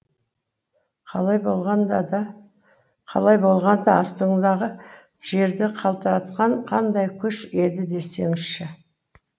қалай болғанда астыңдағы жерді қалтыратқан қандай күш еді десеңізші